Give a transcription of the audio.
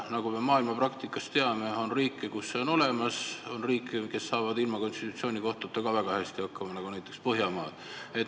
Nagu me maailmapraktikast teame, on riike, kus see on olemas, ja on ka riike, kes saavad ilma konstitutsioonikohtuta väga hästi hakkama, näiteks Põhjamaad.